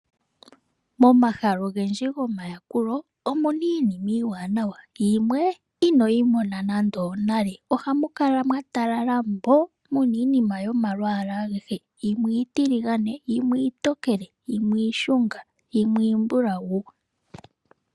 Momahala ogendji gomayakulo omuna iinima iiwanawa, yimwe ino yimona nande onale, ohamuka mwatalala mbo muna iinima ayihe yimwe iitilingane, yimwe iitokele, yimwe iishunga nayimwe iimbulawu.